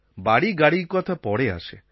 বাড়িগাড়ির কথা পরে আসে